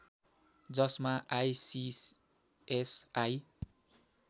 जसमा आईसीएसआई